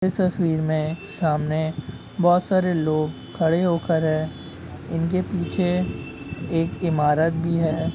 इस तस्वीर में सामने बहुत सारे लोग खड़े हो कर है इनके पीछे एक ईमारत भी है।